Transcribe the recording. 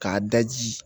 K'a daji